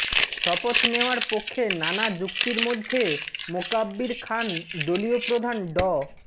শপথ নেওয়ার পক্ষে নানা যুক্তির মধ্যে মোকাব্বির খান দলীয় প্রধান ড